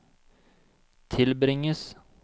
tilbringes